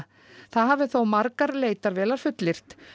það hafi þó margar leitarvélar fullyrt